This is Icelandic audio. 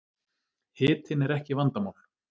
Hitinn er ekki vandamál